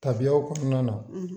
Tabiyaw kɔnɔna na